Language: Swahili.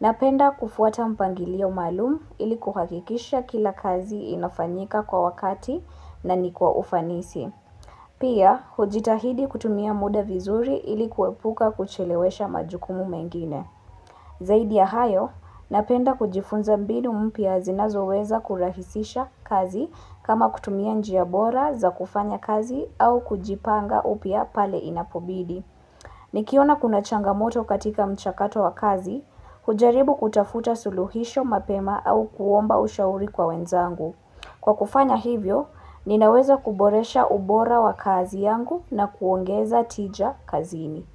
Napenda kufuata mpangilio maalum ili kuhakikisha kila kazi inafanyika kwa wakati na ni kwa ufanisi. Pia, hujitahidi kutumia muda vizuri ili kuepuka kuchelewesha majukumu mengine. Zaidi ya hayo, napenda kujifunza mbinu mpya zinazoweza kurahisisha kazi kama kutumia njia bora za kufanya kazi au kujipanga upya pale inapobidi. Nikiona kuna changamoto katika mchakato wa kazi, hujaribu kutafuta suluhisho mapema au kuomba ushauri kwa wenzangu. Kwa kufanya hivyo, ninaweza kuboresha ubora wa kazi yangu na kuongeza tija kazini.